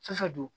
Fɛn fɛn don